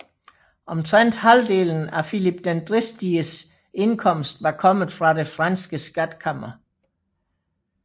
Omtrent halvdelen af Filip den Dristiges indkomst var kommet fra det franske skatkammer